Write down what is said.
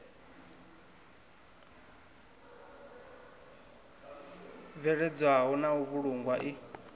bveledzwaho na u vhulungwa i